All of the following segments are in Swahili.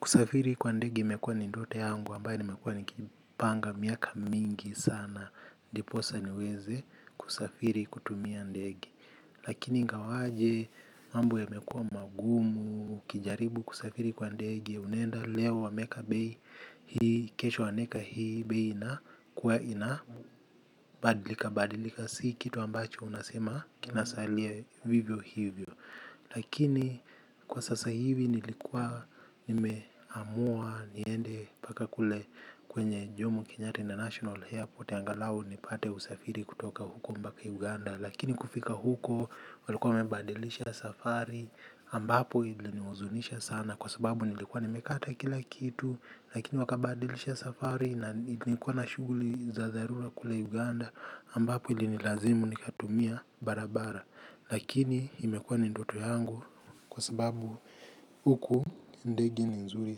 Kusafiri kwa ndege imekuwa ni ndoto yangu ambaye nimekuwa nikipanga miaka mingi sana. Ndiposa niweze kusafiri kutumia ndege. Lakini ingawaje mambo yamekua magumu, ukijaribu kusafiri kwa ndege unaenda leo wameeka bei. Hii kesho wanaeka hii bei inakuwa inabadilika badilika sasa. Si kitu ambacho unasema kinasalia vivyo hivyo. Lakini kwa sasa hivi nilikuwa nimeamua niende mpaka kule kwenye jomo kenyatta international airport angalau nipate usafiri kutoka huko mpaka Uganda. Lakini kufika huko walikuwa wamebadilisha safari ambapo ili nihuzunisha sana kwa sababu nilikuwa nimekata kila kitu. Lakini wakabadilisha safari nilikuwa na shughuli za za dharura kule Uganda ambapo ilinilazimu nikatumia barabara. Lakini imekuwa ni ndoto yangu kwa sababu uku ndege ni nzuri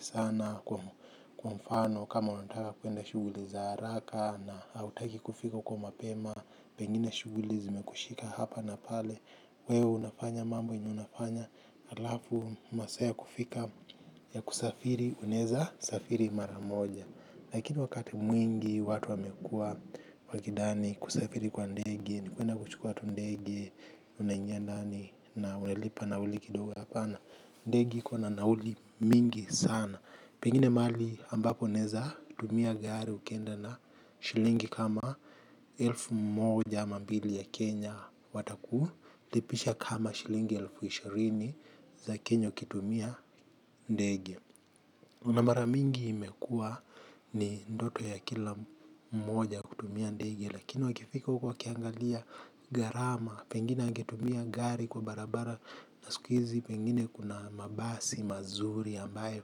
sana kwa kwa mfano kama unataka kuenda shughuli za haraka na hautaki kufika huko mapema. Pengine shughuli zimekushika hapa na pale wewe unafanya mambo yenye unafanya alafu masaa ya kufika ya kusafiri unaeza safiri mara moja. Lakini wakati mwingi watu wamekuwa wakidhani kusafiri kwa ndege, ni kuenda kuchukua tu ndege, unaingia ndani na umelipa nauli kidogo hapana. Ndege iko na nauli mingi sana. Pengine mahali ambapo naeza tumia gari ukienda na shilingi kama elfu mmoja ama mbili ya Kenya wataku. Lipisha kama shilingi elfu ishirini za Kenya ukitumia ndege. Na mara mingi imekua ni ndoto ya kila mmoja kutumia ndege. Lakini wakifika huko wakiangalia gharama pengine angetumia gari kwa barabara. Na sikuizi pengine kuna mabasi mazuri ambayo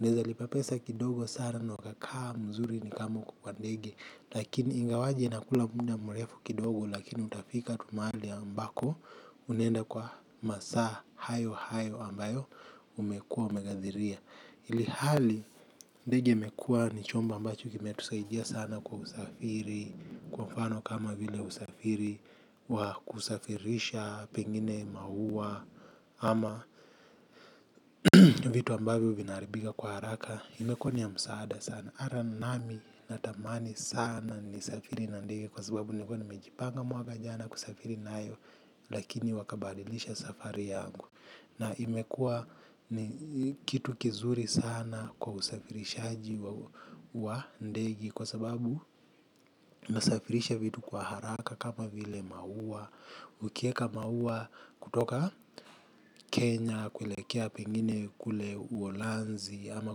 unaeza lipa pesa kidogo sare na ukakaa mzuri ni kama uko kwa ndege. Lakini ingawaje inakula muda mrefu kidogo. Lakini utafika tu mahali ambako unaenda kwa masaa hayo hayo ambayo umekuwa umeghadhiria ilhali ndege imekuwa ni chombo ambacho kimetusaidia sana kwa usafiri kwa mfano kama vile usafiri wa kusafirisha pengine maua ama vitu ambavyo vinaharibika kwa haraka imekuwa ni ya msaada sana ata nami natamani sana nisafiri na ndege kwa sababu nilikuwa nimejipanga mwaka jana kusafiri nayo lakini wakabadilisha safari yangu. Na imekua ni kitu kizuri sana kwa usafirishaji wa ndege. Kwa sababu nasafirisha vitu kwa haraka kama vile maua. Ukieka maua kutoka Kenya, kuelekea pengine kule uholanzi ama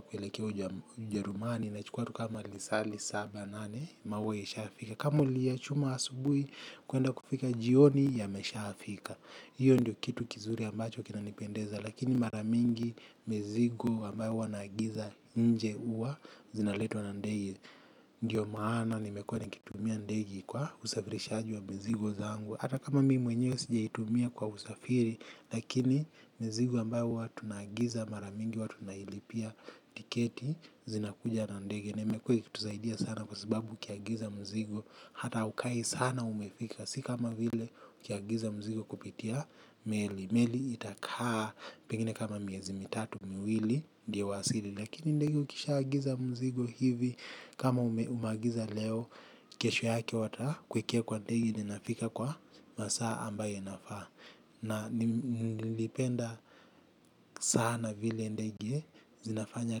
kuelekea ujerumani inachukua tu kama lisaa lisaba nane. Maua ishafika. Kama uliyachuma asubuhi kuenda kufika jioni yameshafika. Iyo ndio kitu kizuri ambacho kinanipendeza. Lakini mara mingi mizigo ambayo huwa naagiza nje huwa zinaletwa na ndege. Ndio maana nimekuwa nikitumia ndegi kwa usafirishaji wa mizigo zangu. Hata kama mimi mwenyewe sijaitumia kwa usafiri lakini mizigo ambayo huwa tunaagiza mara mingi huwa tunailipia tiketi zinakuja na ndege. Na imekuwa ikitusaidia sana kwa sababu ukiagiza mzigo. Hata haukai sana umefika. Si kama vile ukiagiza mizigo kupitia meli. Meli itakaa pengine kama miezi mitatu miwili ndio uwasili lakini ndege ukishaagiza mzigo hivi kama umeagiza leo kesho yake watakuekea kwa ndege na inafika kwa masaa ambayo inafaa. Na nilipenda sana vile ndege zinafanya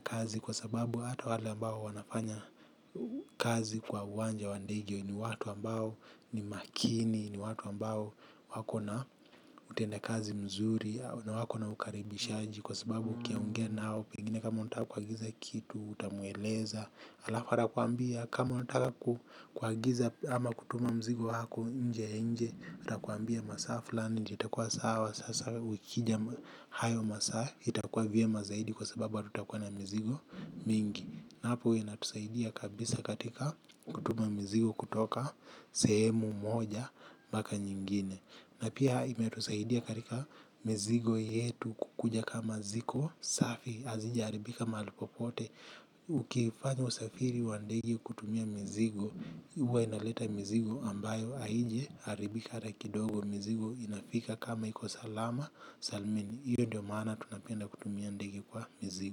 kazi kwa sababu hata wale ambao wanafanya kazi kwa uwanja wa ndege ni watu ambao ni makini, ni watu ambao wako na utenda kazi mzuri na wako na ukaribisha. Kwa sababu ukiongea nao pengine kama unata kuagiza kitu, utamueleza alafu atakuambia kama unataka kuagiza ama kutuma mzigo wako nje nje atakuambia masaa fulani ndio itakuwa sawa sasa ukija hayo masaa itakuwa vyema zaidi kwa sababu hatutakuwa na mizigo mingi na hapo inatusaidia kabisa katika kutuma mizigo kutoka sehemu moja hadi mpaka na pia imetusaidia katika mizigo yetu kukuja kama ziko safi hazijaharibika mahali popote. Ukifanya usafiri wa ndege kutumia mizigo huwa inaleta mzigo ambayo haijaharibika hata kidogo mizigo inafika kama iko salama Salmini. Iyo ndio maana tunapenda kutumia ndege kwa mizigo.